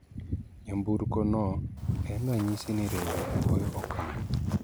nyamburko no en ranyisi ni riwruok goyo okang'